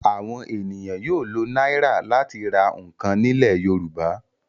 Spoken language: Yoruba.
Àwọn ènìyàn yóò lo náírà láti ra nǹkan nílẹ̀ Yorùbá.